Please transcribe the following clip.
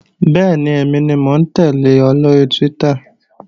Bẹ́ẹ̀ni, èmi ni mò ń tẹ́lẹ̀ ọ lóri Twitter